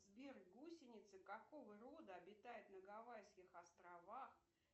сбер гусеницы какого рода обитают на гавайских островах